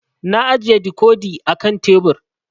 Na ajiye dikodi a kan tebur